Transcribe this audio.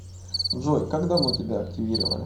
джой как давно тебя активировали